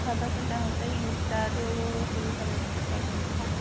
তাৰপাছত তাহতে ইন্স্তা তো খুলি চাব instagram তো